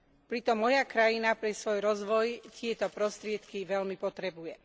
Pritom moja krajina pre svoj rozvoj tieto prostriedky veľmi potrebuje.